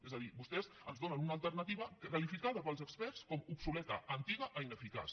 és a dir vostès ens donen una alternativa qualificada pels experts d’obsoleta antiga i ineficaç